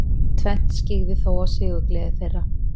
Tvennt skyggði þó á sigurgleði þeirra.